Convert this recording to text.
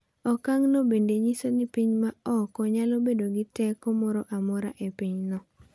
Okang’no bende nyiso ni piny ma oko nyalo bedo gi teko moro amora e pinyno.